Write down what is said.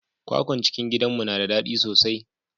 kwakwan cikin gidanmu na da dadi sosai.